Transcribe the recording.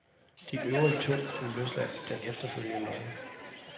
De øvrige to blev løsladt den efterfølgende morgen.